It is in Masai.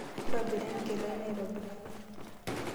Ntobira enkila ino aitobiraki.